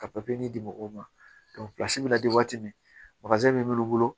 Ka di mɔgɔw ma pilasi bɛ na di waati min min b'olu bolo